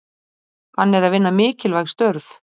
Hann er að vinna mikilvæg störf.